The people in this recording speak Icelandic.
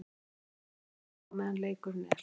Ég horfi ekki upp í stúku á meðan leikurinn er.